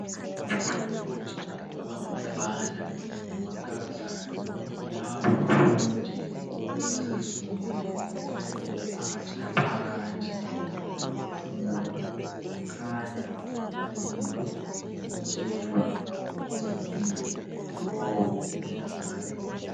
Ngabafundi abangabafana lamankazana. Laba abafundi basezingeni eliphakathi laphakathi elokufunda. Kukhanya balinde ukutshelwa samuthingi kulowo mhlangano.